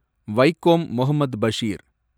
Vaikom Muhammad Basheer